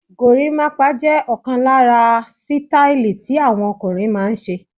Gorimapa jẹ ọkan lára sítáílì tí àwọn ọkùnrin máa ń ṣe.